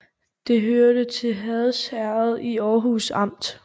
Det hørte til Hads Herred i Aarhus Amt